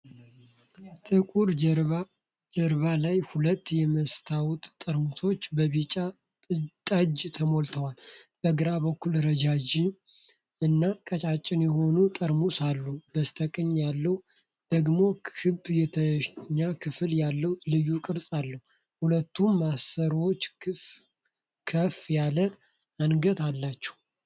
ጥቁር ጀርባ ላይ ሁለት የመስታወት ጠርሙሶች በቢጫ ጠጅ ተሞልተዋል። በግራ በኩል ረዥም እና ቀጭን የሆነ ጠርሙስ አለ፣ በስተቀኝ ያለው ደግሞ ክብ የታችኛው ክፍል ያለው ልዩ ቅርጽ አለው። ሁለቱም ማሰሮዎች ከፍ ያለ አንገት አላቸው።